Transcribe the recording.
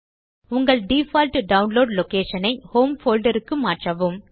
உங்கள் default download location ஐ home folder க்கு மாற்றவும்